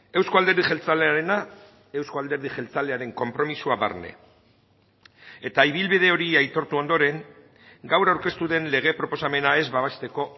euzko alderdi jeltzalearena euzko alderdi jeltzalearen konpromisoa barne eta ibilbide hori aitortu ondoren gaur aurkeztu den lege proposamena ez babesteko